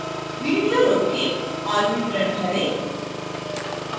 video रोकें और विवरण भरें